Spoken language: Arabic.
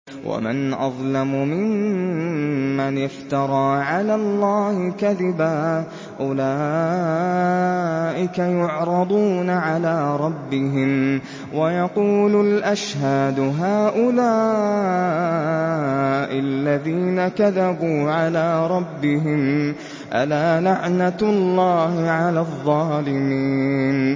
وَمَنْ أَظْلَمُ مِمَّنِ افْتَرَىٰ عَلَى اللَّهِ كَذِبًا ۚ أُولَٰئِكَ يُعْرَضُونَ عَلَىٰ رَبِّهِمْ وَيَقُولُ الْأَشْهَادُ هَٰؤُلَاءِ الَّذِينَ كَذَبُوا عَلَىٰ رَبِّهِمْ ۚ أَلَا لَعْنَةُ اللَّهِ عَلَى الظَّالِمِينَ